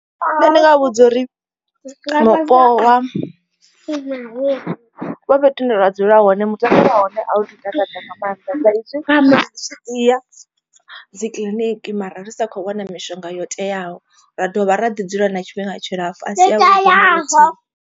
Nṋe ndi nga vhudza uri mupo wa fhethu hune ra dzula hone mutakalo wa hone a u tu takadza nga maanḓa sa izwi ri tshi ya dzikiḽiniki mara ri sa khou wana mishonga yo teaho. Ra dovha ra ḓi dzula na tshifhinga tshilapfu a si avhuḓi naluthihi.